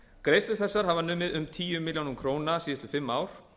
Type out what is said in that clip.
greiðslur þessar hafa numið um tíu milljónir króna síðastliðin fimm ár